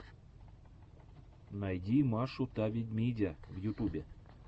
найди машу та ведмидя в ютюбе